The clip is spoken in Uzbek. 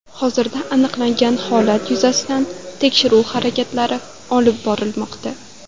Hozirda aniqlangan holat yuzasidan tekshiruv harakatlari olib borilmoqda.